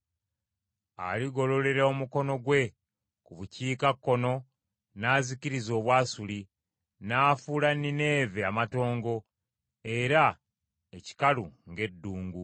Aligololera omukono gwe ku bukiikakkono n’azikiriza Obwasuli; n’afuula Nineeve amatongo era ekikalu ng’eddungu.